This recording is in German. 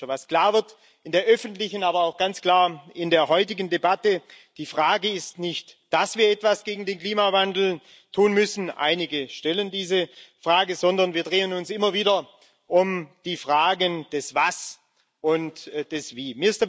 Was in der öffentlichen, aber auch in der heutigen Debatte klar wird Die Frage ist nicht, dass wir etwas gegen den Klimawandel tun müssen einige stellen diese Frage sondern wir drehen uns immer wieder um die Fragen nach dem Was und dem Wie.